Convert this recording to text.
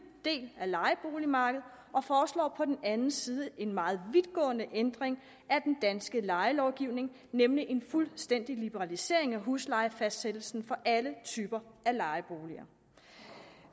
del af lejeboligmarkedet og foreslår på den anden side en meget vidtgående ændring af den danske lejelovgivning nemlig en fuldstændig liberalisering af huslejefastsættelsen for alle typer af lejeboliger